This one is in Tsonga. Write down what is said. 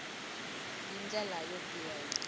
hi ndlela yo biha hi